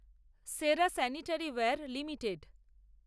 সেরা sanitaryware limited